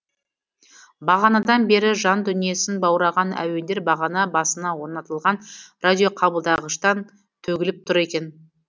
бағанадан бері жан дүниесін баураған әуендер бағана басына орнатылған радиоқабылдағыштан төгіліп тұр екен